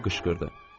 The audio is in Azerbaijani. Nənə qışqırdı.